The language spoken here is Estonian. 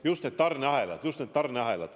Just need tarneahelad!